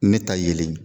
Ne ta yelen ye